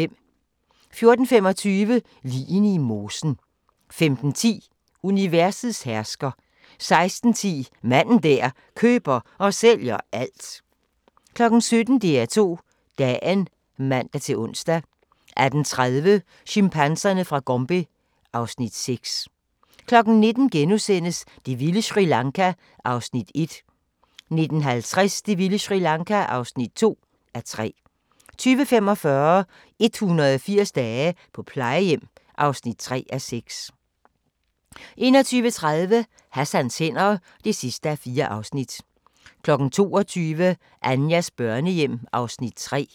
14:25: Ligene i mosen 15:10: Universets hersker 16:10: Manden der køber og sælger alt 17:00: DR2 Dagen (man-ons) 18:30: Chimpanserne fra Gombe (Afs. 6) 19:00: Det vilde Sri Lanka (1:3)* 19:50: Det vilde Sri Lanka (2:3) 20:45: 180 dage på plejehjem (3:6) 21:30: Hassans hænder (4:4) 22:00: Anjas børnehjem (Afs. 3)